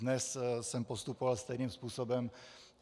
Dnes jsem postupoval stejným způsobem.